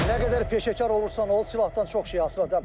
Nə qədər peşəkar olursan ol, silahdan çox şey asılıdır.